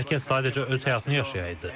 Hər kəs sadəcə öz həyatını yaşayaydı.